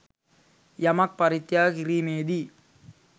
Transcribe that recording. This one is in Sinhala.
යමක් පරිත්‍යාග කිරීමේදී